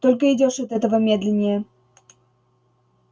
только идёшь от этого медленнее